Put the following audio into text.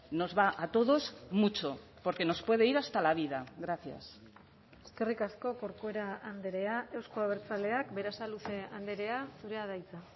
nos va a todos mucho porque nos puede ir hasta la vida gracias eskerrik asko corcuera andrea euzko abertzaleak berasaluze andrea zurea da hitza